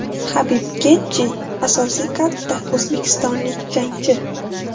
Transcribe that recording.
Habib Getji, asosiy kardda o‘zbekistonlik jangchi.